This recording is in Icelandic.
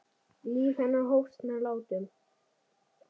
Líf hennar hófst með látum.